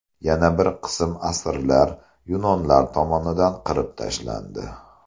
Yana bir qism asirlar yunonlar tomonidan qirib tashlandi.